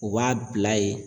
U b'a bila yen